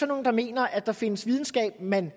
nogle der mener at der findes videnskab man